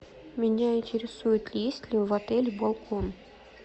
меня интересует есть ли в отеле балкон